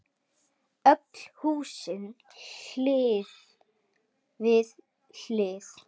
Öll húsin hlið við hlið.